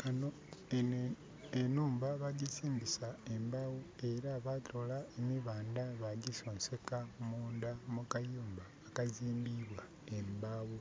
Kano, Eno enhumba bajjizimbisa embaawo era batoola emibanda bajjisonseka munda mu kayumba akazimbibwa embaawo.